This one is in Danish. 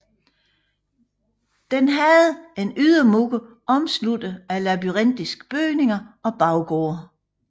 Den havde en ydermur omsluttet af labyrintiske bygninger og baggårde